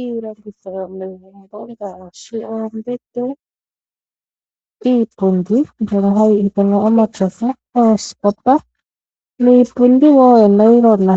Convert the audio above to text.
Iilongitho yomegumbo ngaashi oombete, iipundi mbyono hayi ithanwa omatyofa, oosikopa niipundi wo yonailona.